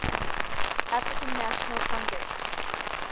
african national congress